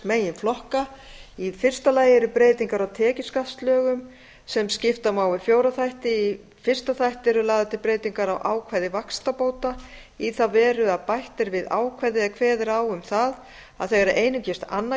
meginflokka í fyrsta lagi eru breytingar á tekjuskattslögum sem skipta má í fjóra þætti í fyrsta þætti eru lagðar til breytingar á ákvæði vaxtabóta í þá veru að bætt er við ákvæði er kveður á um það að þegar einungis annað